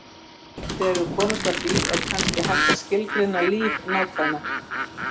Þegar við komumst að því, er kannski hægt að skilgreina líf nákvæmar.